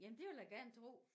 Jamen det vil jeg gerne tro